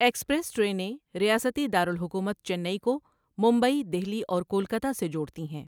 Express ٹرینیں ریاستی دارالحکومت چنئی کو ممبئی، دہلی اور کولکتہ سے جوڑتی ہیں۔